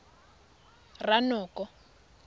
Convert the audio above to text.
ranoko